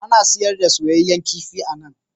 Ana sayar da soyayyen kifi a nan.